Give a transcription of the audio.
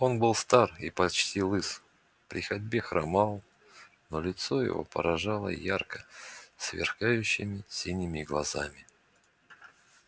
он был стар и почти лыс при ходьбе хромал но лицо его поражало ярко сверкающими синими глазами